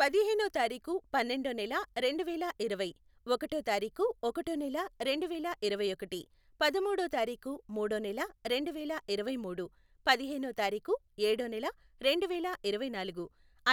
పదిహేనో తారిఖు, పన్నెండో నెల, రెండు వేల ఇరవై. ఒకటో తారీఖు, ఒకటో నెల, రెండు వేల ఇరవైఒకటి. పదముడో తారిఖు, మూడో నెల, రెండు వేల ఇరవైమూడు. పదిహేనో తారిఖు, ఏడో నెల, రెండు వేల ఇరవైనాలుగు.